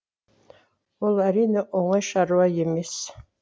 ол әрине оңай шаруа емес